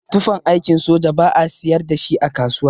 Tufan aikin soja ba'a siyar dashi a kasuwa.